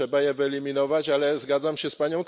Trzeba je wyeliminować, ale zgadzam się z p.